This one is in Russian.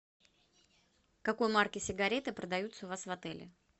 какой марки сигареты продаются у вас в отеле